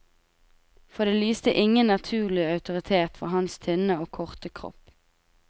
For det lyste ingen naturlig autoritet fra hans tynne og korte kropp.